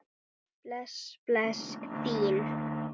Bless bless, þín